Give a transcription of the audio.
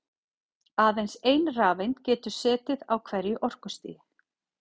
Aðeins ein rafeind getur setið á hverju orkustigi.